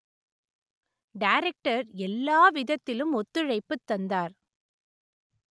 director எல்லாவிதத்திலும் ஒத்துழைப்பு தந்தார்